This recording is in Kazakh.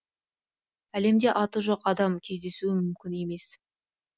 әлемде аты жоқ адам кездесуі мүмкін емес